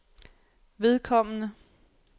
vedkommende